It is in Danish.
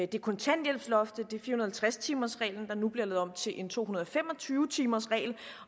det er kontanthjælpsloftet det er fire hundrede og halvtreds timers reglen der nu bliver lavet om til en to hundrede og fem og tyve timers regel